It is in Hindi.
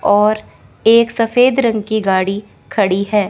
और एक सफेद रंग की गाड़ी खड़ी है।